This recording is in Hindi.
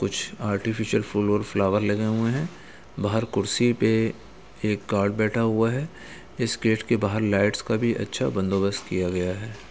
कुछ आर्टफिशल फूल और फ्लावर लगे हुए हैं बाहर कुर्सी पे एक गार्ड बैठा हुआ है इस गेट के बाहर लाइटस का अच्छा बंदोबस्त किया गया है।